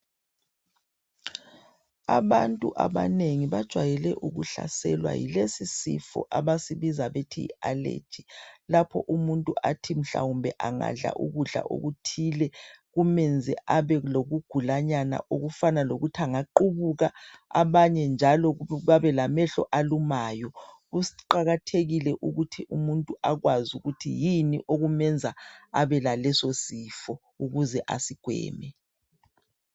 Abantu abanengi bajayele ukuhlaselwa yilesi sifo abasibiza bethi yi allergy .Lapho umuntu athi mhlawumbe angadla ukudla okuthile kumenze abe lokugulanyana okufana lokuthi angaqubuka .Abanye njalo babelamehlo alumayo . Kuqakathekile ukuthi umuthi akwazi ukuthi yini okumenza lesosifo ukuze asigweme .